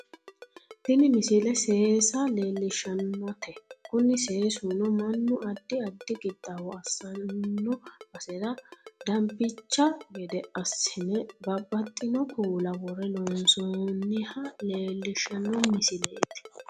tini misile seesa leellishshannote kuni seesuno mannu addi addi qixxaawo assanno basera dabncha gede assine babbaxxino kuula worre loonsoonniha leellishshanno misileeti